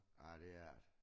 Ej det er det